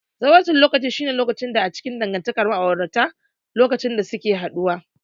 Zawarcin lokaci shine lokaci a cikin dangantakar ma'aurata lokacin da suke saduwa.